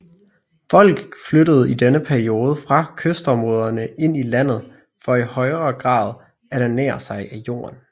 Folk flyttede i denne periode fra kystområderne ind i landet for i højre grad at ernære sig af jorden